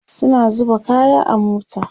suna zuba kaya a mota